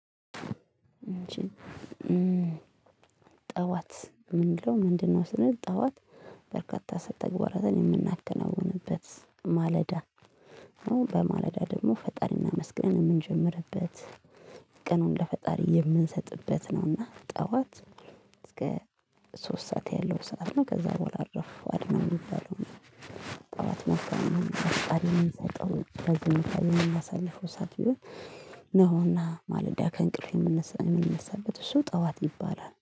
ጠዋት ምንድነው ምንድነው ስንል ጠዋት በርካታ ተግባራትን የምናከናውንበት ማለዳ። አሁን በማለዳ ደግሞ ፈጣሪን እናመስግን የምንጀምርበት። ቀኑን ለፈጣሪ የምንሰጥበት ነውና ጠዋት እስከ ሶስት ሰዓት ያለው ሰዓት ነው። ከዛ በኋላ አረፉ አድናው የሚባለው። ጠዋት መፍታት ነው። ለዚህ ነው የሚያሳልፈው ሰዓት ይሁን። ነውና ማለዳ ከእንቅልፍ የምንነሳበት እሱ ጠዋት ይባላል